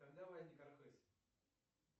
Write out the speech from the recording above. когда возник архыз